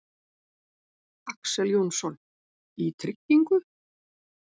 Axel Jónsson:.í tryggingu?